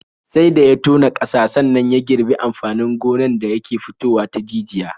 Sai da ya tona ƙasa sannan ya girbi amfanin gonan da yake fitowa ta jijiya.